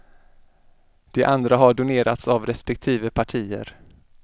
De andra har donerats av respektive partier.